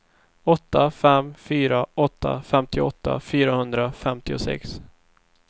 åtta fem fyra åtta femtioåtta fyrahundrafemtiosex